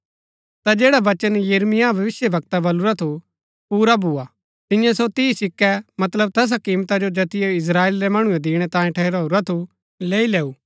ता जैडा वचन यिर्मयाह भविष्‍यवक्तै बलुरा थू पुरा भोआ तियें सो तीह सिक्कै मतलब तैसा किमता जो जैतिओ इस्त्राएल रै मणुऐ दिणै तांयें ठहराऊरा थू लैई लैऊं